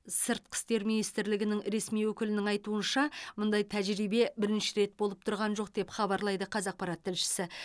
сыртқы істер министрлігі ресми өкілінің айтуынша мұндай тәжірибе бірінші рет болып тұрған жоқ деп хабарлайды қазақпарат тілшісі